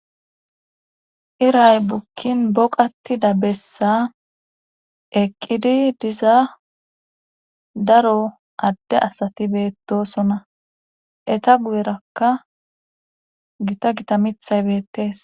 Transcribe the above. iray bukkin boqatida bessa eqqidi diza daro adde asati beettosona eta guyerakka gita gita mithay beettees